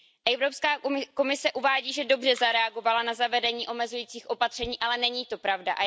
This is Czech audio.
Evropská komise uvádí, že dobře zareagovala na zavedení omezujících opatření, ale není to pravda.